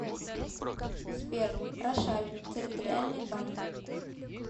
сбер рошаль территориальный банк